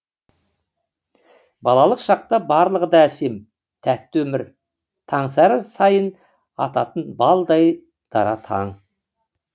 балалық шақта барлығы да әсем тәтті өмір таңсәрі сайын ататын балдай дара таң